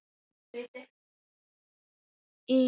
Ingimar: Hefur það komið fyrir?